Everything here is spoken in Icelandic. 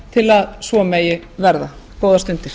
til að svo megi verða góðar stundir